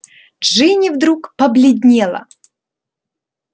джинни вдруг побледнела